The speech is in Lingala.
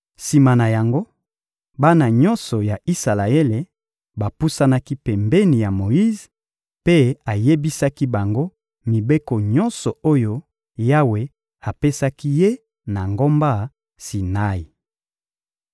Sima na yango, bana nyonso ya Isalaele bapusanaki pembeni ya Moyize mpe ayebisaki bango mibeko nyonso oyo Yawe apesaki ye na ngomba Sinai.